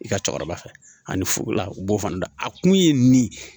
I ka cɛkɔrɔba fɛ ani furu la u b'o fana dɔn a kun ye nin ye